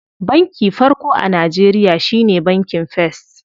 Banki farko a Najeriya shine bankin first.